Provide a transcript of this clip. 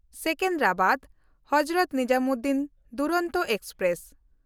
ᱥᱮᱠᱮᱱᱫᱨᱟᱵᱟᱫ-ᱦᱚᱡᱨᱚᱛ Nizamuddin Duronto express